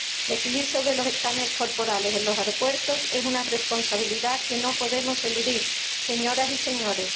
Decidir sobre los escáneres corporales en los aeropuertos es una responsabilidad que no podemos eludir, señoras y señores.